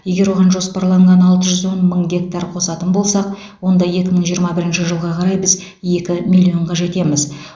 егер оған жоспарланған алты жүз он мың гектар қосатын болсақ онда екі мың жиырма бірінші жылға қарай біз екі миллионға жетеміз